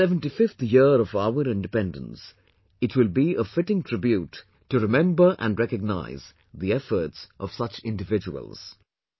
In the 75th year of our independence, it will be a fitting tribute to remember and recognise the efforts of such individuals